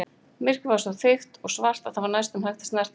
Myrkrið var svo þykkt og svart að það var næstum hægt að snerta það.